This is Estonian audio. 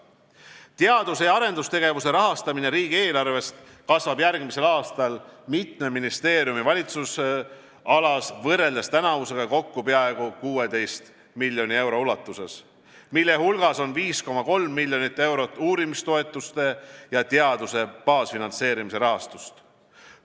Teadus- ja arendustegevuse rahastamine riigieelarvest kasvab järgmisel aastal mitme ministeeriumi valitsemisalas võrreldes tänavusega kokku peaaegu 16 miljoni euro ulatuses, mille hulgas on 5,3 miljonit eurot uurimistoetuste ja teaduse baasfinantseerimise rahastust.